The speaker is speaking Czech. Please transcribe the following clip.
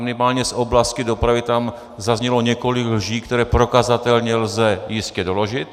Minimálně z oblasti dopravy tam zaznělo několik lží, které prokazatelně lze jistě doložit.